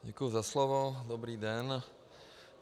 Děkuji za slovo, dobrý den.